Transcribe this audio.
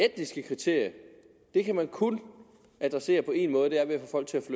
etniske kriterium kan man kun adressere på en måde